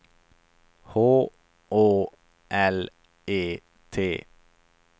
H Å L E T